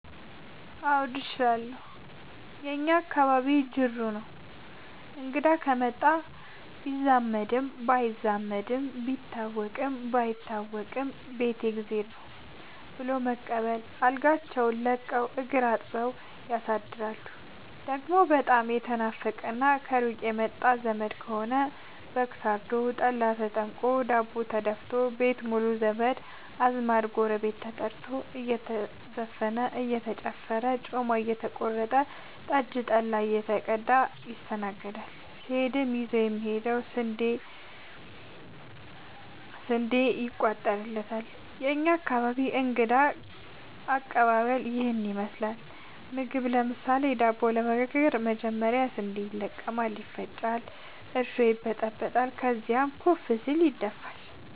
አዎድ እችላለሁ የእኛ አካባቢ ጅሩ ነው። እንግዳ ከመጣ ቢዛመድም ባይዛመድም ቢታወቅም ባይታወቅም ቤት የእግዜር ነው። ብሎ በመቀበል አልጋቸውን ለቀው እግር አጥበው ያሳድራሉ። ደሞ በጣም የተናፈቀና ከሩቅ የመጣ ዘመድ ከሆነ በግ ታርዶ፤ ጠላ ተጠምቆ፤ ዳቦ ተደፋቶ፤ ቤት ሙሉ ዘመድ አዝማድ ጎረቤት ተጠርቶ እየተዘፈነ እየተጨፈረ ጮማ እየተቆረጠ ጠጅ ጠላ እየተቀዳ ይስተናገዳል። ሲሄድም ይዞ የሚሄደው ስንዴ ይጫንለታል። የእኛ አካባቢ እንግዳ ከቀባበል ይህን ይመስላል። ምግብ ለምሳሌ:- ዳቦ ለመጋገር መጀመሪያ ስንዴ ይለቀማል ይፈጫል እርሾ ይበጠበጣል ከዚያም ኩፍ ሲል ይደፋል።